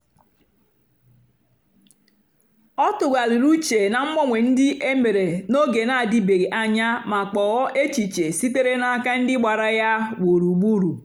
ọ tụ̀ghàrị̀rì ùchè ná mgbanwe ndí e mèrè n’ógè na-àdị̀bèghị́ anya mà kpọ̀ọ́ èchìchè sìtèrè n’àka ndí gbàra ya gbùrùgbùrù.